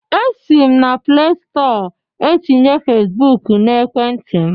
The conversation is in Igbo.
Esi m na plestọ etinye Fesbụk na ekwenti m